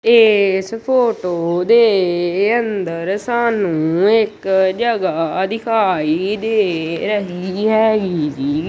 ਇੱਸ ਫ਼ੋਟੋ ਦੇ ਅੰਦਰ ਸਾਨੂੰ ਇੱਕ ਜਗਾਹ ਦਿਖਾਈ ਦੇ ਰਹੀ ਹੈਗੀ ਜੀ।